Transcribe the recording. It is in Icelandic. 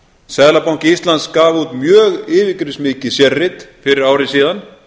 seðlabanki íslands gaf út mjög yfirgripsmikið sérrit fyrir ári síðan